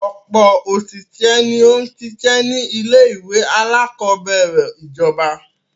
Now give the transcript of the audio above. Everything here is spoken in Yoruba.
Ọ̀pọ̀ òṣìṣẹ́ ni ó n sisẹ́ ni ilé-ìwé aláàkọ́bẹ̀rẹ̀ ìjọba.